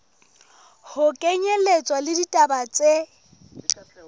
ho kenyelletswa le ditaba tse